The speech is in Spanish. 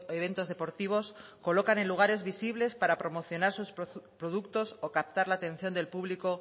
eventos deportivos colocan en lugares visibles para promocionar sus productos o captar la atención del público